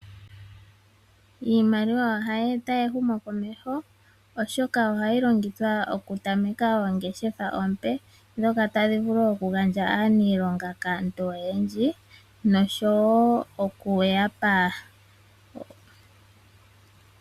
Iimaliwa ohayi eta ehumo komeho oshoka ohayi longithwa okutameka ongeshefa ompe, dhoka tadhi vulu okugandja aaniilonga kaantu oyendji, nosho wo okuyapa